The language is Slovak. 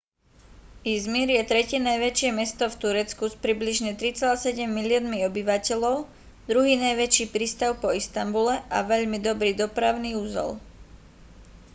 i̇zmir je tretie najväčšie mesto v turecku s približne 3,7 miliónmi obyvateľov druhý najväčší prístav po istanbule a veľmi dobrý dopravný uzol